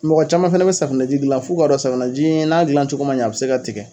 Mɔgɔ caman fɛnɛ be safinɛji gilan f'u ka dɔn safinɛji n'a gilancogo a be se ka tigɛ